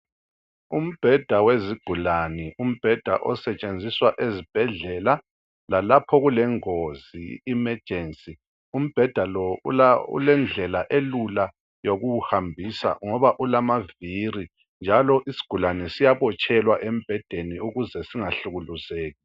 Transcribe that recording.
Umbheda wezigulani umbheda osetshenziswa ezibhedlela lalapha kulengozi emergency umbheda lo ulendlela elula yokuwuhambisa ngoba ulamaviri njalo isigulane siyabotshelwa embhedeni ukuze singahlukuluzeki